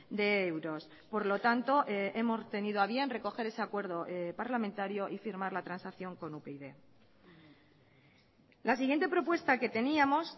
de euros por lo tanto hemos tenido a bien recoger ese acuerdo parlamentario y firmar la transacción con upyd la siguiente propuesta que teníamos